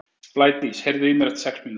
Blædís, heyrðu í mér eftir sex mínútur.